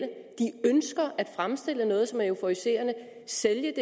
ønsker at fremstille noget som er euforiserende og sælge